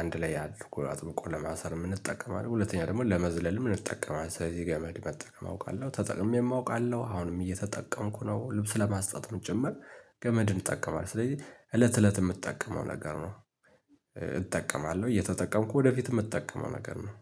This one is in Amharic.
አንድ ላይ አድርጎ አጥብቆ ለማሰርም እንጠቀማለን ሁለተኛ ደግሞ ለመዝለልም እንጠቀማለን ስለዚህ ገመድ መጠቀም አውቃለሁ ተጠቅሜም አውቃለው አሁንም እየተጠቀምኩ ነው። ልብስ ለማስጣትም ጭምር ገመድን እጠቀማለው ስለዚህ እለት እለት የምጠቀመው ነገር ነው። እጠቀማለሁ እየተጠቀምኩ ወደፊትም የምትጠቀመው ነገር ነው።